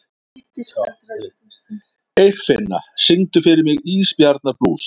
Eirfinna, syngdu fyrir mig „Ísbjarnarblús“.